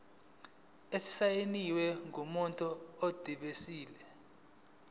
esisayinwe ngumuntu odilive